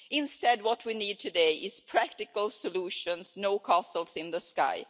Instead, what we need today are practical solutions, not castles in the sky.